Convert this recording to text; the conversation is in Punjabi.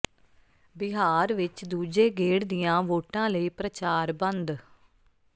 ਬਿਹਾਰ ਵਿੱਚ ਦੂਜੇ ਗੇਡ਼ ਦੀਆਂ ਵੋਟਾਂ ਲਈ ਪ੍ਰਚਾਰ ਬੰਦ